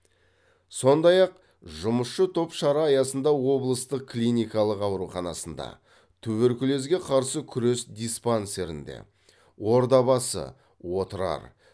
сондай ақ жұмысшы топ шара аясында облыстық клиникалық ауруханасында туберкулезге қарсы күрес диспансерінде ордабасы отырар